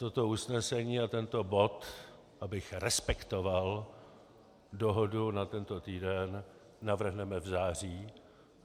Toto usnesení a tento bod, abych respektoval dohodu na tento týden, navrhneme v září.